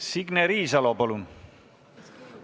Signe Riisalo, palun!